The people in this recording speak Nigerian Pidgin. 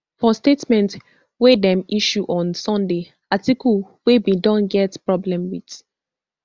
for statement wey dem issue on sunday atiku wey bin don get problem wit